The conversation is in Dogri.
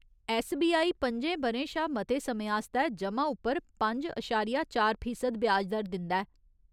ऐस्सबीआई पंजें ब'रें शा मते समें आस्तै जमा उप्पर पंज अशारिया चार फीसद ब्याज दर दिंदा ऐ।